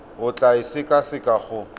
o tla e sekaseka go